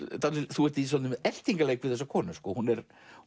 þú ert í svolitlum eltingaleik við þessa konu hún